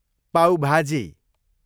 पाउ भाजी